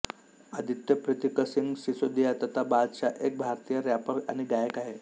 आदित्य प्रितिकसिंग सिसोदिया तथा बादशाह एक भारतीय रॅपर आणि गायक आहे